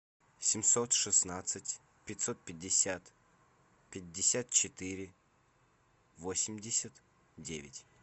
семьсот шестнадцать пятьсот пятьдесят пятьдесят четыре восемьдесят девять